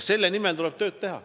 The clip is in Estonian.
Selle nimel tuleb tööd teha.